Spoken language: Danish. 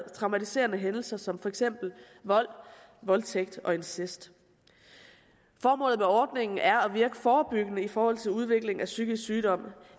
traumatiserende hændelser som for eksempel vold voldtægt og incest formålet med ordningen er at virke forebyggende i forhold til udviklingen af en psykisk sygdom